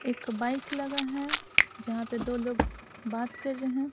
एक बाइक लगा है जहां पर दो लोग बात कर रहे हैं।